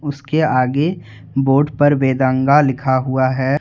उसके आगे बोर्ड पर बेदंगा लिखा हुआ है।